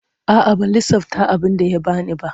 A'a ban lissafta abinda ya bani ba.